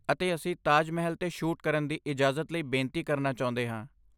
ਅਤੇ ਅਸੀਂ ਤਾਜ ਮਹਿਲ 'ਤੇ ਸ਼ੂਟ ਕਰਨ ਦੀ ਇਜਾਜ਼ਤ ਲਈ ਬੇਨਤੀ ਕਰਨਾ ਚਾਹੁੰਦੇ ਹਾਂ।